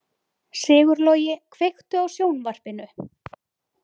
Sigurlogi, kveiktu á sjónvarpinu.